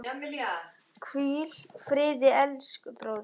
Hvíl friði elsku bróðir.